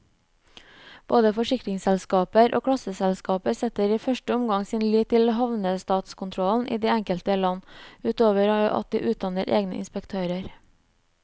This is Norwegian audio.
Både forsikringsselskaper og klasseselskaper setter i første omgang sin lit til havnestatskontrollen i det enkelte land, utover at de utdanner egne inspektører.